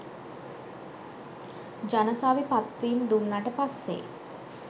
ජනසවි පත්වීම් දුන්නට පස්සෙ